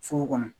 Foro kɔnɔ